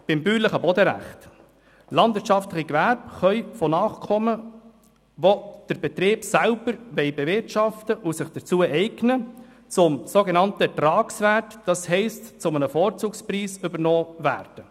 Beim bäuerlichen Bodenrecht: Landwirtschaftliche Gewerbe können von Nachkommen, die den Betrieb selbst bewirtschaften wollen und sich dazu eignen, zum sogenannten Ertragswert, das heisst zu einem Vorzugspreis, übernommen werden.